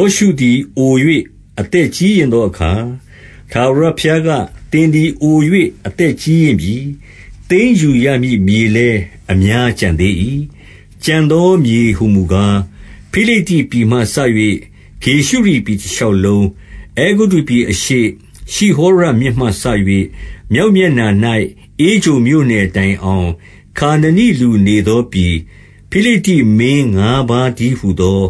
ောရှုသည် အို၍ အသက်ကြီးရင့်သောအခါ၊ ထာဝရဘုရားက၊ သင်သည် အို၍ အသက်ကြီးရင့်ပြီ။ သိမ်းယူရမည့်မြေလည်း အများကျန်သေး၏။ 2 ကျန်သောမြေဟူမူကား၊ ဖိလိတ္တိပြည်မှစ၍ ဂေရှုရိပြည်တရှောက်လုံး၊ 3 အဲဂုတ္တုပြည်အရှေ့၊ ရှိဟောရမြစ်မှစ၍ မြောက် မျက်နှာ၌ ဧကြုန်မြို့နယ်တိုင်အောင်၊ ခါနနိလူနေသော ပြည်၊ ဖိလိတ္တိမင်းငါးပါးတည်းဟူသော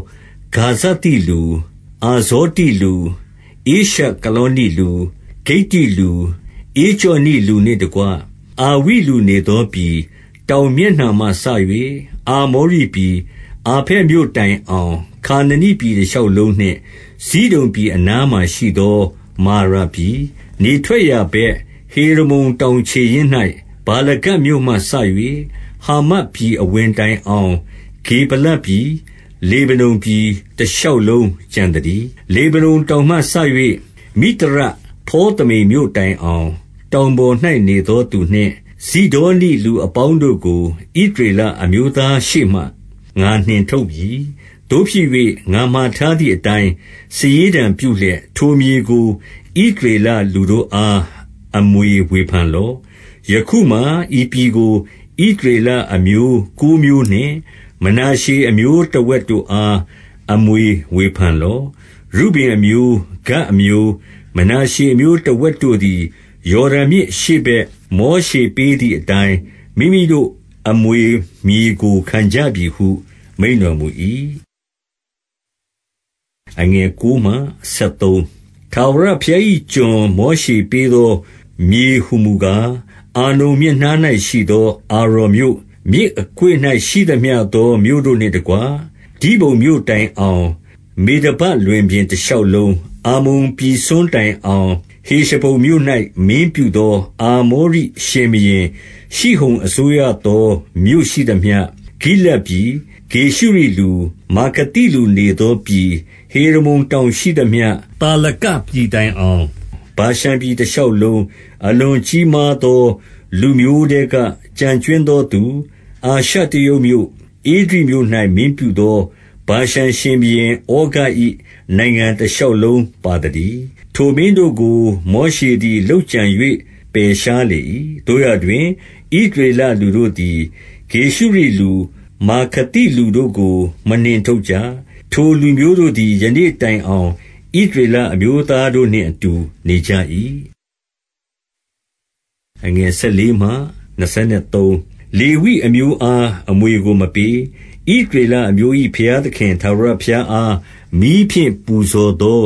ဂါဇသိလူ၊ အာဇော တိလူ၊ ဧရှကလောနိလူ၊ ဂိတ္တိလူ၊ ဧကြောနိလူနှင့်တကွ၊ အာဝိလူနေသောပြည်၊ 4 တောင်မျက်နှာမှစ၍ အာမောရိပြည် အာဖက် မြို့တိုင်အောင်၊ ခါနနိပြည်တရှောက်လုံးနှင့် ဇိဒုန်ပြည် အနားမှာရှိသော မာရာပြည်၊ 5 နေထွက်ရာဘက်၊ ဟေရမုန်တောင်ခြေရင်း၌ ဗာလဂဒ်မြို့မှစ၍ ဟာမတ်ပြည်အဝင်တိုင်အောင် ဂေဗလပြည်၊ လေဗနုန်ပြည် တရှောက်လုံးကျန်သတည်း။ 6 လေဗနုန်တောင်မှစ၍ မိသရဖေါသမိမ်မြို့တိုင် အောင်၊ တောင်ပေါ်၌နေသောသူနှင့် ဇိဒေါနိလူအပေါင်း တို့ကို ဣသရေလအမျိုးသားရှေ့မှ ငါနှင်ထုတ်မည်။ သို့ဖြစ်၍ ငါမှာထားသည်အတိုင်း စာရေးတံပြုလျက် ထိုမြေကို ဣသရေလလူတို့အား အမွေဝေဖန်လော့။ 7 ယခုမှာ ဤပြည်ကို ဣသရေလအမျိုးကိုးမျိုးနှင့် မနာရှေအမျိုးတဝက်တို့အား အမွေဝေဖန်လော့။ 8 ရုဗင်အမျိုး၊ ဂဒ်အမျိုး၊ မနာရှေအမျိုးတဝက်တို့ သည် ယော်ဒန်မြစ်အရှေ့ဘက်၊ မောရှေပေးသည်အတိုင်း မိမိတို့အမွေမြေကို ခံကြပြီဟု မိန့်တော်မူ၏။ 9 ထာဝရဘုရား၏ကျွန်မောရှေပေးသော မြေဟူမူ ကား၊ အာနုန်မြစ်နား၌ရှိသော အာရော်မြို့၊ မြစ်အကွေ့၌ ရှိသမျှသောမြို့တို့နှင့်တကွ၊ ဒိဘုန်မြို့တိုင်အောင် မေဒဘ လွင်ပြင်တရှောက်လုံး၊ 10 အမ္မုန်ပြည်စွန်းတိုင်အောင်၊ ဟေရှဘုန်မြို့၌ မင်းပြုသော အာမောရိရှင်ဘုရင်ရှိဟုန် အစိုးရသောမြို့ ရှိသမျှ၊ 11 ဂိလဒ်ပြည်၊ ဂေရှုရိလူ၊ မာခါသိလူနေသောပြည်၊ ဟေရမုန်တောင်ရှိသမျှ၊ သာလကပြည်တိုင်အောင် ဗာရှန် ပြည်တရှောက်လုံး၊ 12 အလွန်ကြီးမားသောလူမျိုးထဲက ကျန်ကြွင်း သောသူ၊ အာရှတရုတ်မြို့၊ ဧဒြိမြို့၌ မင်းပြုသော ဗာရှန် ရှင်ဘုရင်ဩဃ၏ နိုင်ငံတရှောက်လုံးပါသတည်း။ ထိုမင်း တို့ကို မောရှေသည် လုပ်ကြံ၍ ပယ်ရှားလေ၏။ 13 သို့ရာတွင် ဣသရေလလူတို့သည် ဂေရှုရိလူ၊ မာခါသိလူတို့ကို မနှင်ထုတ်ကြ။ ထိုလူမျိုးတို့သည် ယနေ့ တိုင်အောင် ဣသရေလအမျိုးသားတို့နှင့် အတူနေကြ၏။ 14 လေဝိအမျိုးသား အမွေကိုမပေး။ ဣသရေလ အမျိုး၏ဘုရားသခင် ထာဝရဘုရားအား မီးဖြင့်ပူဇော် သော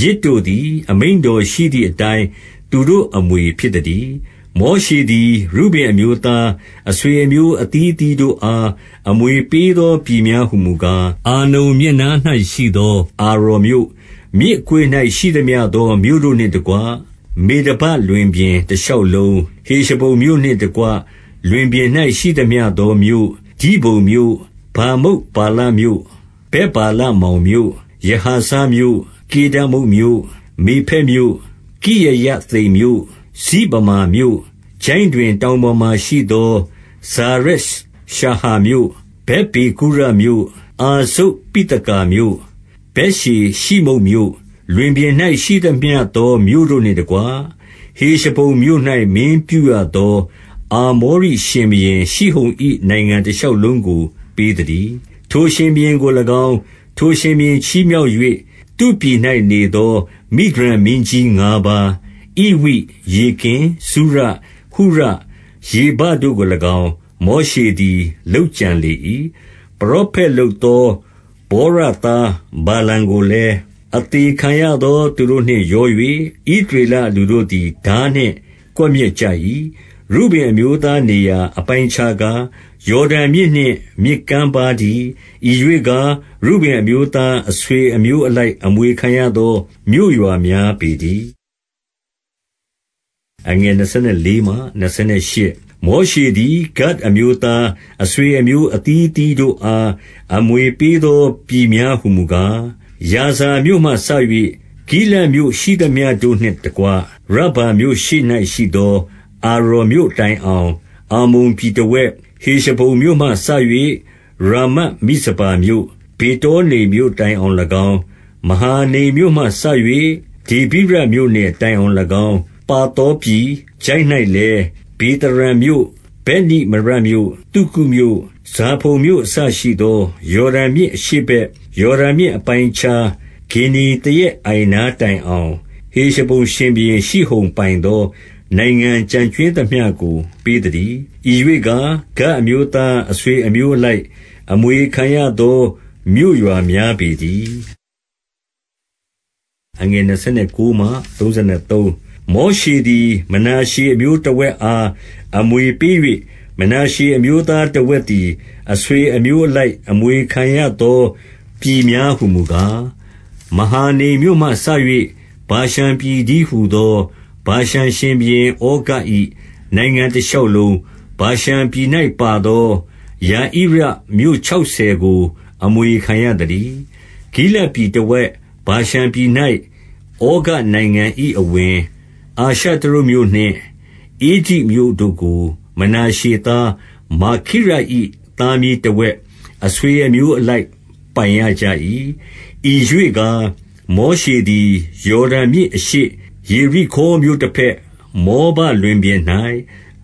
ယဇ်တို့သည် အမိန့်တော်ရှိသည်အတိုင်း သူတို့အမွေ ဖြစ်သတည်း။ 15 မောရှေသည်၊ ရုဗင်အမျိုးသား အဆွေအမျိုး အသီးသီးတို့အား အမွေပေးသောပြည်များ ဟူမူကား၊ 16 အာနုန်မြစ်နား၌ရှိသော အာရော်မြို့၊ မြစ်အ ကွေ့၌ ရှိသမျှသောမြို့တို့နှင့်တကွ၊ မေဒဘလွင်ပြင် တရှောက်လုံး၊ 17 ဟေရှဘုန်မြို့နှင့်တကွ လွင်ပြင်၌ ရှိသမျှသော မြို့၊ ဒိဘုန်မြို့၊ ဗာမုတ်ဗာလမြို့၊ ဗက်ဗာလမောင်မြို့၊ 18 ယဟာဇမြို့၊ ကေဒမုတ်မြို့၊ မေဖတ်မြို့၊ 19 ကိရယသိမ်မြို့၊ စိဗမာမြို့၊ ချိုင့်တွင်တောင်ပေါ် မှာရှိသော ဇာရက်ရှာဟာမြို့၊ 20 ဗက်ပေဂုရမြို့၊ အာဇုတ်ပိသကာမြို့၊ ဗက်ယေရှိ မုတ်မြို့၊ 21 လွင်ပြင်၌ရှိသမျှသော မြို့တို့နှင့်တကွ၊ ဟေရှဘုန် မြို့၌မင်းပြုရသော အာမောရိရှင်ဘုရင် ရှိဟုန်၏နိုင်ငံ တရှောက်လုံးကို ပေးသတည်း။ ထိုရှင်ဘုရင်ကို၎င်း၊ ထိုရှင်ဘုရင်ချီးမြှောက်၍ သူ့ပြည်၌နေသော မိဒျန်မင်းကြီး ငါးပါး၊ ဧဝိ၊ ရေကင်၊ ဇုရ၊ ဟုရ၊ ရေဘတို့ကို၎င်း၊ မောရှေ သည် လုပ်ကြံလေ၏။ 22 ပရောဖက်လုပ်သော ဗောရသား ဗာလမ်ကို လည်း၊ အသေခံရသောသူတို့နှင့်ရော၍ ဣသရေလလူတို့ သည် ထားနှင့်ကွပ်မျက်ကြ၏။ 23 ရုဗင်အမျိုးသား နေရာအပိုင်းအခြားကား၊ ယော်ဒန်မြစ်နှင့် မြစ်ကမ်းပါးတည်း။ ဤရွေ့ကား၊ ရုဗင် အမျိုးသား အဆွေအမျိုးအလိုက် အမွေခံရသော မြို့ရွာ များပေတည်း။ 24 မောရှေသည် ဂဒ်အမျိုးသား အဆွေအမျိုးအသီး အသီးတို့အား အမွေပေးသော ပြည်များဟူမူကား၊ 25 ယာဇာမြို့မှစ၍ ဂိလဒ်မြို့ရှိသမျှတို့နှင့်တကွ၊ ရဗ္ဗာမြို့ရှေ့၌ရှိသော အာရော်မြို့တိုင်အောင် အမ္မုန်ပြည် တဝက်၊ 26 ဟေရှဘုန်မြို့မှစ၍ ရာမတ်မိဇပါမြို့၊ ဗေတော နိမ်မြို့တိုင်အောင်၎င်း၊ မဟာနိမ်မြို့မှစ၍ ဒေဗိရမြို့နယ် တိုင်အောင်၎င်း ပါသောပြည်၊ 27 ချိုင့်၌လည်း၊ ဗေသာရံမြို့၊ ဗက်နိမရမြို့၊ သုကုတ် မြို့၊ ဇာဖုန်မြို့အစရှိသော ယော်ဒန်မြစ်အရှေ့ဘက် ယော် ဒန်မြစ်အပိုင်းအခြား၊ ဂင်္နေသရက်အိုင်နားတိုင်အောင်၊ ဟေရှဘုန်ရှင်ဘုရင်ရှိဟုန် ပိုင်သော နိုင်ငံကျန်ကြွင်းသမျှ ကို ပေးသတည်း။ 28 ဤရွေ့ကား၊ ဂဒ်အမျိုးသား အဆွေအမျိုးအ လိုက် အမွေခံရသော မြို့ရွာများပေတည်း။ 29 မောရှေသည် မနာရှေအမျိုးတဝက်အား အမွေ ပေး၍၊ မနာရှေအမျိုးသားတဝက်သည် အဆွေအမျိုး အလိုက် အမွေခံရသော ပြည်များဟူမူကား၊ 30 မဟာနိမ်မြို့မှစ၍ ဗာရှန်ပြည်တည်းဟူသော ဗာရှန်ရှင်ဘုရင်ဩဃ၏ နိုင်ငံတရှောက်လုံး၊ ဗာရှန်ပြည်၌ ပါသော ယာဣရမြို့ခြောက်ဆယ်ကို အမွေခံရသတည်း။ 31 ဂိလဒ်ပြည်တဝက်၊ ဗာရှန်ပြည်၌ ဩဃ၏ နိုင်ငံ အဝင်၊ အာရှတရုတ်မြို့နှင့် ဧဒြိမြို့တို့ကို မနာရှေသား မာခိရ၏ သားမြေးတဝက် အဆွေအမျိုးအလိုက် ပိုင်ရကြ ၏။ 32 ဤရွေ့ကား၊ မောရှေသည် ယော်ဒန်မြစ်အရှေ့၊ ယေရိခေါမြို့တဘက်၊ မောဘလွင်ပြင်၌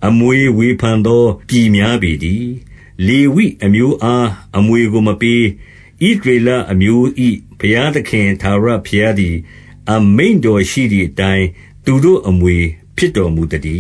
အမွေဝေဖန် သော ပြည်များပေတည်း။ 33 လေဝိအမျိုးအား အမွေကိုမပေး။ ဣသရေလ အမျိုး၏ ဘုရားသခင် ထာဝရဘုရားသည် အမိန့်တော် ရှိသည်အတိုင်း သူတို့အမွေဖြစ်တော်မူသတည